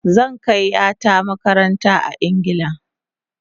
Zan kai yarinya ta makaranta a Ingila